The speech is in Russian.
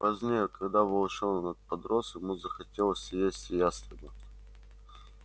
позднее когда волчонок подрос ему захотелось съесть ястреба